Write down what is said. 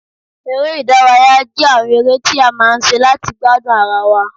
Eré ìdárayá jẹ́ àwọn eré tí a máa ń ṣe láti gbádùn ara wa